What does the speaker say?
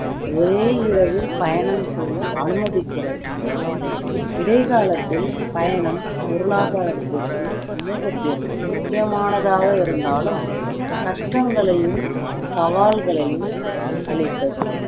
ஒரே இரவில் பயணம் செய்ய அனுமதிக்கிறது இடைகாலத்தில் பயணம் பொருளாதாரத்திற்கும் சமுகத்திற்கும் முக்கியமானதாக இருந்தாலும் கஷ்டங்களையும் சவால்களையும் அளித்தது